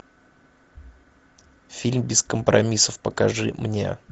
фильм без компромиссов покажи мне